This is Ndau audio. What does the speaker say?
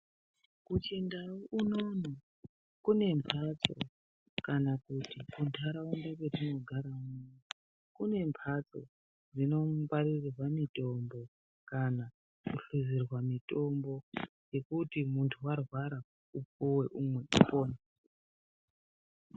Kuchindau unono kune mphatso kana kuti muntaraunda metinogara kune mphatso dzinongwaririrwa mitombo kana kuhluzirwa mitombo yekuti munthu arwara upuwe umwe upone.